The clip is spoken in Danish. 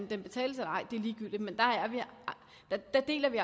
den betales eller ej er ligegyldigt men der deler vi